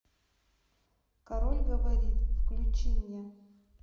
король говорит включи мне